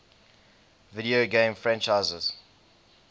video game franchises